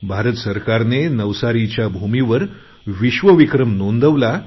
भारत सरकारने नवसारीच्या भूमीवर विश्वविक्रम नोंदवला